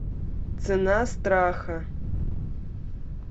цена страха